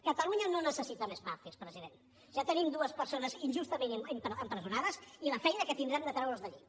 catalunya no necessita més màrtirs president ja tenim dues persones injustament empresonades i la feina que tindrem de treure’ls d’allí